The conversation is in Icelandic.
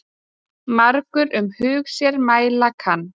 Margur um hug sér mæla kann.